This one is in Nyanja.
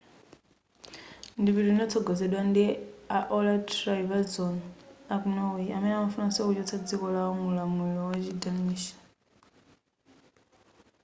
ndipitiyu linatsogozedwa ndi a olaf trygvasson aku norway amene amafunanso kuchotsa dziko lao mu ulamulilo wa chi danish